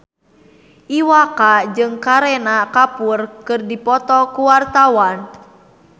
Iwa K jeung Kareena Kapoor keur dipoto ku wartawan